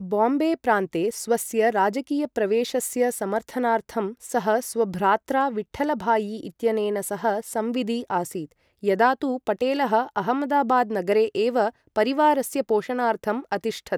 बाम्बे प्रान्ते स्वस्य राजकीयप्रवेशस्य समर्थनार्थं सः स्वभ्रात्रा विठ्ठलभायि इत्यनेन सह संविदि आसीत्, यदा तु पटेलः अहमदाबाद् नगरे एव परिवारस्य पोषणार्थं अतिष्ठत्।